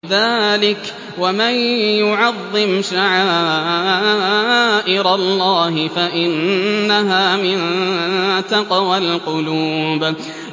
ذَٰلِكَ وَمَن يُعَظِّمْ شَعَائِرَ اللَّهِ فَإِنَّهَا مِن تَقْوَى الْقُلُوبِ